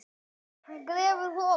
Sem við áttum skilið.